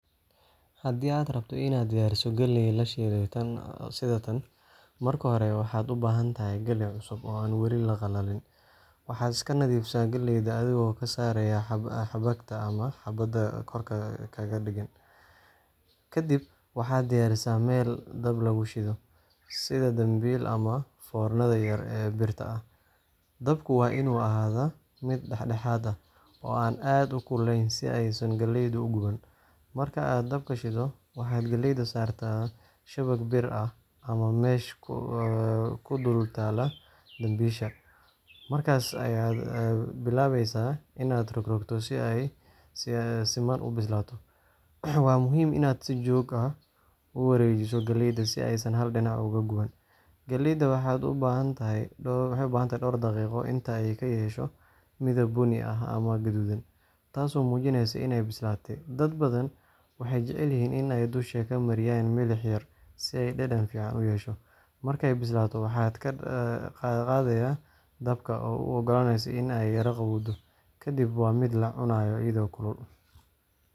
Haddii aad rabto inaad diyaariso galley la shiilay sida tan, marka hore waxaad u baahan tahay galleey cusub oo aan weli qalalin. Waxaad iska nadiifisaa galleyda adigoo ka saaray xabagta ama xaabada korka kaga dheggan, kadibna waxaad diyaarisaa meel dab lagu shido, sida dambiil ama foornada yar ee birta ah. Dabka waa inuu ahaadaa mid dhexdhexaad ah, oo aan aad u kululayn si aysan galleydu u guban. Marka aad dabka shiddo, waxaad galleyda saartaa shabag bir ah ama mesh ku dul taalla dambiisha. Markaas ayaad bilaabaysaa inaad rogrogto si ay si siman u bislaato. Waa muhiim inaad si joogto ah u wareejiso galleyda si aysan hal dhinac uga guban. Galleeyda waxay u baahan tahay dhowr daqiiqo, inta ay ka yeesho midab bunni ah ama gaduudan, taasoo muujinaysa inay bislaatay. Dad badan waxay jecel yihiin in ay dusha ka mariyaan milix yar si ay dhadhan fiican u yeesho. Markay bislaato, waxaad ka qaadayaa dabka, u ogolaanaysaa in ay yara qaboowdo, kadibna waa la cunayaa iyadoo kulul.